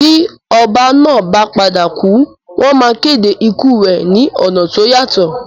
Bí oba náà ba padà kù, wón ma kéde ikù rẹ ni ọ̀nà to yàtọ̀